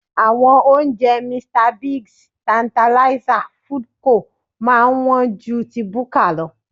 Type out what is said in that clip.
Àwọn oúnjẹ Mr Biggs, Tertanlizer, Foodco máa ń wọ́n ju ti búkà lọ